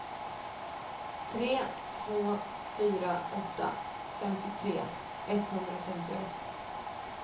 tre två fyra åtta femtiotre etthundrafemtioett